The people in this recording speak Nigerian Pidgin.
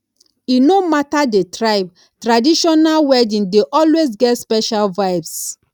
e no matter the tribe traditional wedding dey always get special vibes